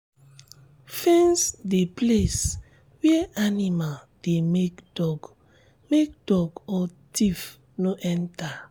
fence the place where animal dey make dog make dog or thief no enter.